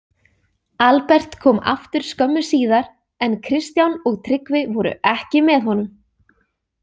Albert kom aftur skömmu síðar en Kristján og Tryggvi voru ekki með honum.